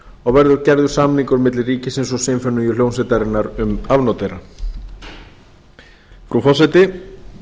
og verður gerður samningur milli ríkisins og sinfóníuhljómsveitarinnar um afnot þeirra frú forseti